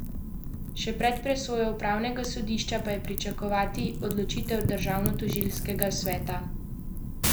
Še pred presojo upravnega sodišča pa je pričakovati odločitev Državnotožilskega sveta.